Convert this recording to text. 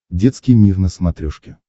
детский мир на смотрешке